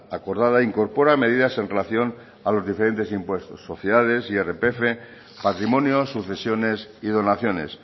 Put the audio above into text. acordada incorpora medidas en relación a los diferentes impuestos sociedades irpf patrimonio sucesiones y donaciones